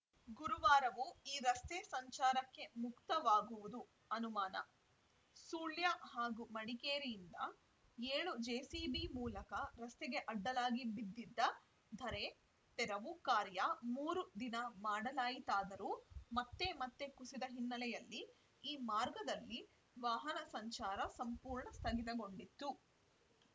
ಗುರುವಾರವೂ ಈ ರಸ್ತೆ ಸಂಚಾರಕ್ಕೆ ಮುಕ್ತವಾಗುವುದು ಅನುಮಾನ ಸುಳ್ಯ ಹಾಗೂ ಮಡಿಕೇರಿಯಿಂದ ಏಳು ಜೆಸಿಬಿ ಮೂಲಕ ರಸ್ತೆಗೆ ಅಡ್ಡಲಾಗಿ ಬಿದ್ದಿದ್ದ ಧರೆ ತೆರವು ಕಾರ್ಯ ಮೂರು ದಿನ ಮಾಡಲಾಯಿತಾದರೂ ಮತ್ತೆ ಮತ್ತೆ ಕುಸಿದ ಹಿನ್ನೆಲೆಯಲ್ಲಿ ಈ ಮಾರ್ಗದಲ್ಲಿ ವಾಹನ ಸಂಚಾರ ಸಂಪೂರ್ಣ ಸ್ಥಗಿತಗೊಂಡಿತ್ತು